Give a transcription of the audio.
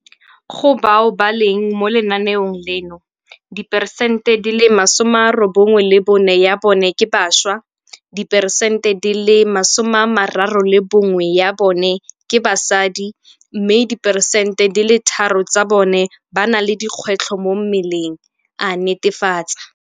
Go bao ba leng mo lenaenong leno, diperesente di le masome a robongwe le bone ya bone ke bašwa, diperesente di le masome a mararo le bongwe ya bone ke basadi mme diperesente di le tharo tsa bone ba na le dikgwetlho mo mmeleng, a netefatsa.